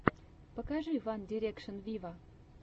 покажи ван дирекшен виво